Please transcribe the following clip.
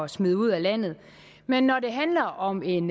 smide ud af landet men når det handler om en